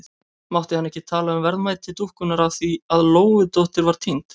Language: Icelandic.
Mátti hann ekki tala um verðmæti dúkkunnar af því að Lóudóttir var týnd?